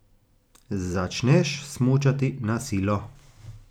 Začneš smučati na silo.